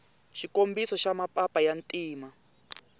xikombiso xa mapapa ya ntima